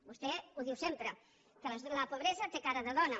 vostè ho diu sempre que la pobresa té cara de dona